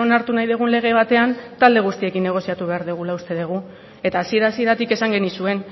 onartu nahi dugun lege batean talde guztiekin negoziatu behar dugula uste dugu eta hasiera hasieratik esan genizuen